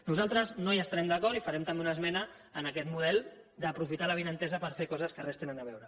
nosaltres no hi estarem d’acord i farem també una esmena en aquest model d’aprofitar l’avinentesa per fer coses que res hi tenen a veure